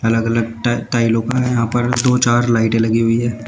अलग अलग टा टाइलों का यहां पर दो चार लाइटें लगी हुई हैं।